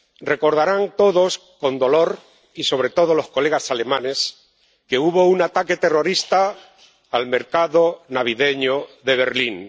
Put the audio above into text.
Recordarán todos con dolor —y sobre todo los colegas alemanes— que hubo un ataque terrorista contra el mercado navideño de Berlín.